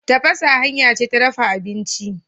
Tafasa hanya ce ta dafa abinci.